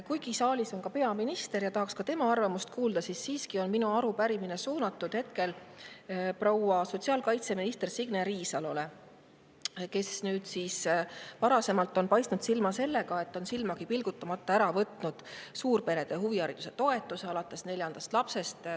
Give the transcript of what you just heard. Kuigi saalis on ka peaminister ja tahaksin ka tema arvamust kuulda, on siiski minu arupärimine suunatud hetkel proua sotsiaalkaitseministrile Signe Riisalole, kes varasemalt on paistnud silma sellega, et on silmagi pilgutamata ära võtnud suurperede huvihariduse toetuse alates neljandast lapsest.